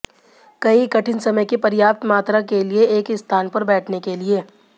कई कठिन समय की पर्याप्त मात्रा के लिए एक ही स्थान पर बैठने के लिए